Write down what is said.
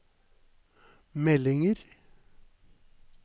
meldinger